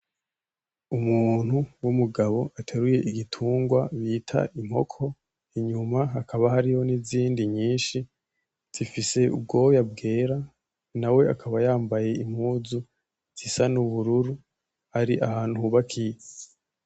Umuntu w'umugabo ateruye igitungwa bita inkoko inyuma hakaba hariyo n'izindi nyishi zifise ubwoya bwera nawe akaba yambaye impuzu zisa n'ubururu ari ahantu hubakiye.